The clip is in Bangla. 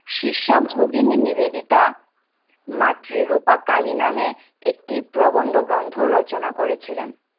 শীর্ষক ভগিনী নিবেদিতা মাতৃরূপা কালী নামে একটি প্রবন্ধগ্রন্থ রচনা করেছিলেন।